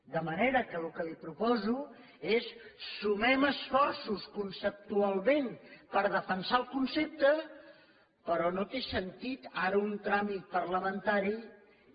de manera que el que li proposo és sumem esforços conceptualment per defensar el concepte però no té sentit ara un tràmit parlamentari que